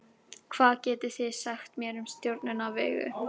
hvað getið þið sagt mér um stjörnuna vegu